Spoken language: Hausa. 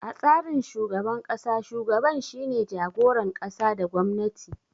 A tsarin shugaban ƙasa, shugaban shine jagoran ƙasa da gwamnati.